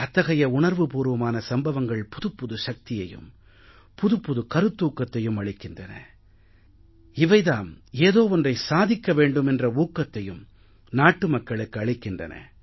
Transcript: அத்தகைய உணர்வு பூர்வமான சம்பவங்கள் புதுப்புது சக்தியையும் புதிய கருத்தூக்கத்தையும் அளிக்கின்றன இவை தாம் ஏதோ ஒன்றை சாதிக்க வேண்டும் என்ற ஊக்கத்தையும் நாட்டு மக்களுக்கு அளிக்கின்றன